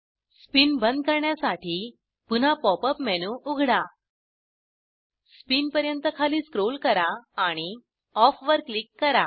spin बंद करण्यासाठी पुन्हा पॉप अप मेनू उघडा स्पिन पर्यंत खाली स्क्रोल करा आणि ऑफ वर क्लिक करा